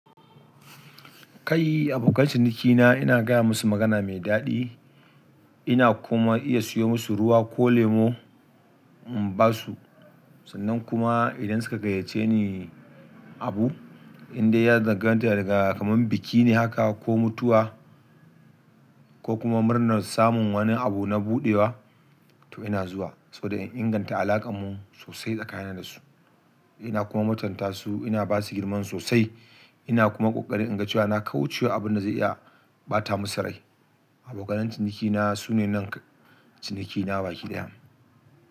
Kai, abokan cinikina ina gaya masu magana mai dadi, ina kuma, iya siyo masu ruwa ko lemo in basu. Sannan kuma idan suka gayyace ni abu, indai ya zan ganta kaman biki ne haka ko mutuwa ko kuma murnar samun wani abu na buɗewa, to ina zuwa saboda in inganta alaƙanmu sosai tsakanina da su. Ina kuma mutanta su, ina ba su girman sosai, ina kuma ƙoƙari in ga cewa na kaucewa abin da zai iya ɓata musu rai. Abokanan cinikina su ne nan cinikina baki daya.